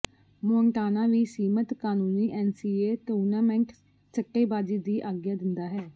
Montana ਵੀ ਸੀਮਤ ਕਾਨੂੰਨੀ ਐਨਸੀਏਏ ਟੂਰਨਾਮੈਂਟ ਸੱਟੇਬਾਜ਼ੀ ਦੀ ਆਗਿਆ ਦਿੰਦਾ ਹੈ